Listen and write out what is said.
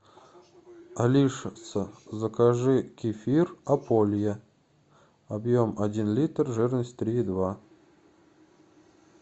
алиса закажи кефир ополье объем один литр жирность три и два